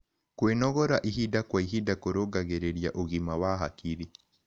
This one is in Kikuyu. Kwĩnogora ĩhĩda kwa ĩhĩda kũrũngagĩrĩrĩa ũgima wa hakĩrĩ